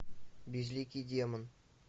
безликий демон